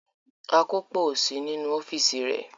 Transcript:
Akópò ò sí nínú ọ́fíísì rẹ̀.